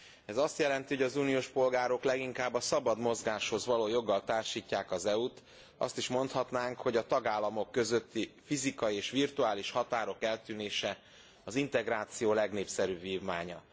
Ez azt jelenti, hogy az uniós polgárok leginkább a szabad mozgáshoz való joggal társítják az EU t, azt is mondhatnánk, a tagállamok közötti fizikai és virtuális határok eltűnése az integráció legnépszerűbb vívmánya.